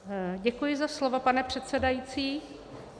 Děkuji za slovo, pane předsedající.